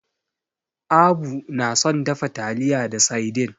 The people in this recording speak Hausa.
Abu na son dafa taliya da saidin.